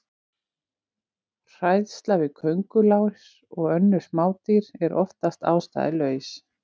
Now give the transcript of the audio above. Hræðsla við köngulær og önnur smádýr er oftast ástæðulaus.